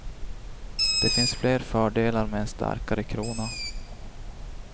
Det finns fler fördelar med en starkare krona.